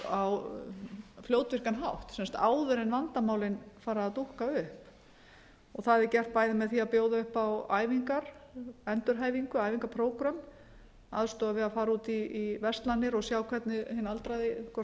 á fljótvirkan hátt áður en vandamálin fara að dúkka upp það er gert bæði með því að bjóða upp á æfingar endurhæfingu æfingaprógrömm aðstoð við að fara út í verslanir og sjá hvernig hinn aldraði hvort hann